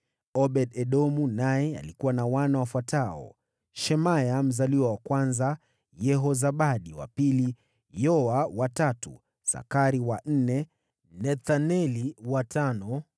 Obed-Edomu naye alikuwa na wana wafuatao: Shemaya mzaliwa wa kwanza, Yehozabadi wa pili, Yoa wa tatu, Sakari wa nne, Nethaneli wa tano,